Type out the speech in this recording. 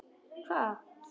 Vá hvað?